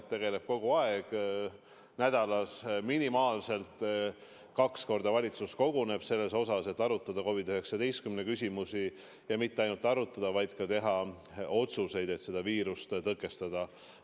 Me tegeleme nendega kogu aeg, nädalas minimaalselt kaks korda valitsus koguneb selleks, et arutada COVID-19 küsimusi, ja mitte ainult arutada, vaid ka teha otsuseid, et selle viiruse levikut tõkestada.